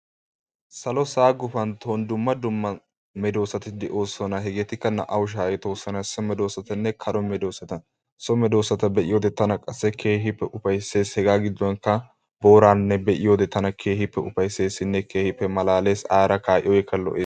Salo sa'a gufantton dumma dumma medoossati de'oosona. Hegeetikka naa"awu shaahettoosona. So medoossatanne kere medoossata. So medoossata be'iyode tana qassi keehippe ufayissees. Hegaa giddonkka booraanne be'iyoode tana keehippe ufayisseesinne keehippe malaales. Aara kaa'iyoogekka lo'ees.